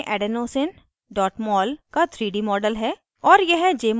यहाँ jmol में adenosine mol का 3d model है